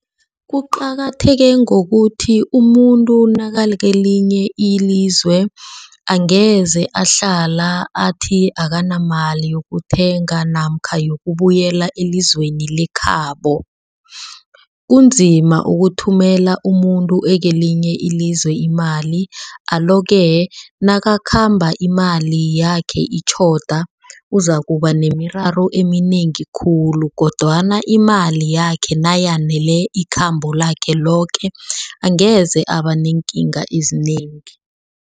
Kuqakatheke ngokuthi umuntu nakakelinye ilizwe, angeze ahlala athi akanamali yokuthenga namkha yokubuyela elizweni lekhabo. Kunzima ukuthumela umuntu akelinye ilizwe imali. Alo-ke nakakhamba imali yakhe itjhoba uzakuba nemiraro eminengi khulu kodwana imali yakhe nayanele ikhambo lakhe loke angeze abaneekinga ezinengi.